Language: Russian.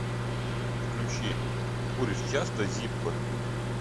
включи куришь часто зиппо